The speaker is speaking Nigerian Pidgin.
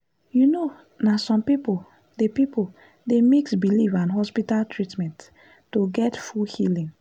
you know na some people dey people dey mix belief and hospital treatment to get full healing.